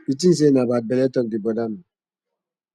you think say una bad belle talk dey bother me